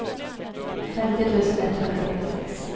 femtio tusen etthundrafyrtiosex